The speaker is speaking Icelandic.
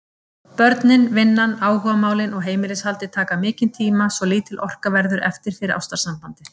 Börnin, vinnan, áhugamálin og heimilishaldið taka mikinn tíma svo lítil orka verður eftir fyrir ástarsambandið.